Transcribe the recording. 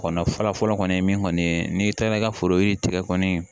Kɔnɔnan fɔlɔfɔlɔ kɔni ye min kɔni ye n'i taara i ka foro yiri tigɛ kɔni